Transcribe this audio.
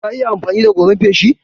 Ka iya amfani da goran feshi?